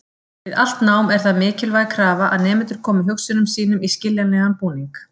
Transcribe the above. Við allt nám er það mikilvæg krafa að nemendur komi hugsunum sínum í skiljanlegan búning.